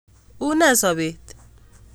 Une sobet?